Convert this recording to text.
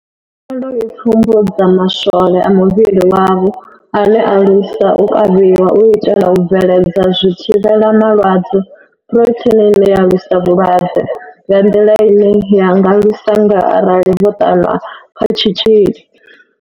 Khaelo i pfumbudza ma swole a muvhili wavho ane a lwisa u kavhiwa, u itela u bveledza zwithivhela malwadze phurotheini ine ya lwisa vhulwadze nga nḓila ine ya nga lwisa ngayo arali vho ṱanwa kha tshitzhili.